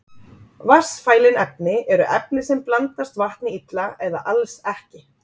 Vatnsfælin efni eru efni sem blandast vatni illa eða alls ekki.